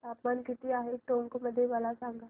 तापमान किती आहे टोंक मध्ये मला सांगा